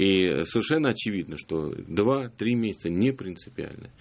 ии совершенно очевидно что два-три месяца не принципиально